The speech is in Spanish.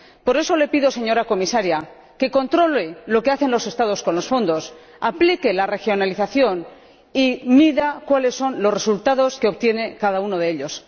Por eso le pido, señora Comisaria, que controle lo que hacen los Estados con los fondos, aplique la regionalización y mida cuáles son los resultados que obtiene cada uno de ellos.